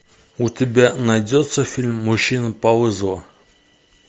у тебя найдется фильм мужчина по вызову